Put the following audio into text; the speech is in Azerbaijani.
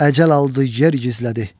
Əcəl aldı, yer gizlədi.